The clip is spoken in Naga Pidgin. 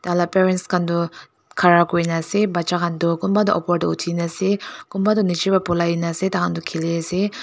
Taila parents khan tu khara kure kena ase paja khan tu kunba tu upor tey uthina ase kunba tu nejey bra boly kena ase thaihan tu khele ase uh.